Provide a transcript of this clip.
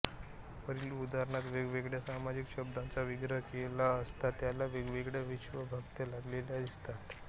वरील उदाहरणांत वेगवेगळ्या सामासिक शब्दांचा विग्रह केला असता त्याला वेगवेगळ्या विभक्त्या लागलेल्या दिसतात